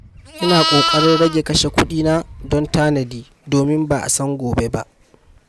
Ina ƙoƙarin rage kashe kuɗina don tanadi, domin ba a san gobe ba.